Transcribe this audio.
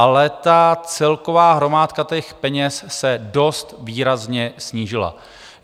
Ale ta celková hromádka těch peněz se dost výrazně snížila.